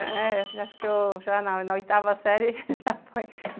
Eh... Acho que eu já na na oitava série, já foi.